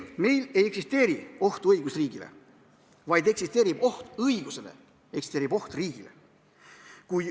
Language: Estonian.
Ei, meil ei eksisteeri ohtu õigusriigile, vaid eksisteerib oht õigusele, eksisteerib oht riigile.